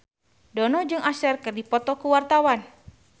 Dono jeung Usher keur dipoto ku wartawan